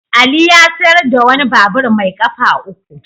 Ali ya sayar da wani babur mai kafa uku.